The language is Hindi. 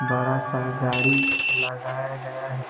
बड़ा सा गाड़ी लगाया गया है।